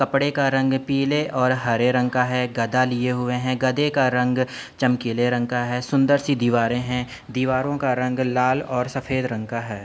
कपड़े का रंग पीले और हरे रंग का है। गदा लिए हुए हैं। गदे का रंग चमकीले रंग का है। सुन्दर सी दीवारें हैं। दीवारों का रंग लाल और सफ़ेद रंग का है।